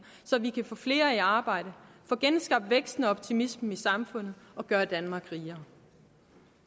så vi kan få flere i arbejde få genskabt væksten og optimismen i samfundet og gøre danmark rigere